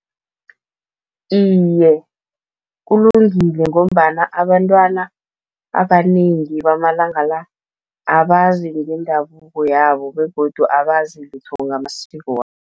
Iye, kulungile ngombana abantwana abanengi bamalanga la, abazi ngendabuko yabo begodu abazi lutho ngamasiko